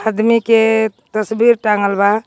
अदमी के तसबीर टांगल बा.